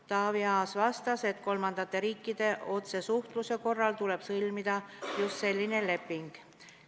Taavi Aas vastas, et kolmandate riikidega otsesuhtluse korral tuleb sõlmida just selline leping.